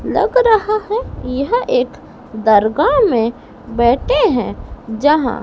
लग रहा है यह एक दरगा में बैठे हैं जहां--